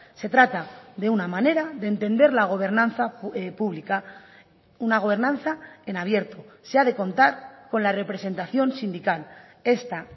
se trata de una manera de entender la gobernanza pública una gobernanza en abierto se ha de contar con la representación sindical esta